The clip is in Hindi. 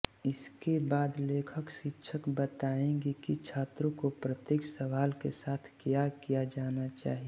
इसके बाद लेखकशिक्षक बताएंगे कि छात्रों को प्रत्येक सवाल के साथ क्या किया जाना चाहिए